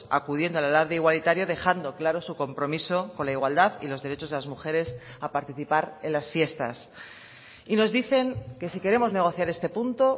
acudiendo al alarde igualitario dejando claro su compromiso con la igualdad y los derechos de las mujeres a participar en las fiestas y nos dicen que si queremos negociar este punto